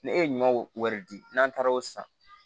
Ne e ye ɲɔ wɛrɛ di n'an taara o san